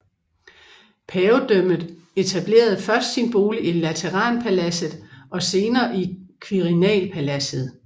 Pavedømmet etablerede først sin bolig i Lateranpaladset og senere i Quirinalpaladset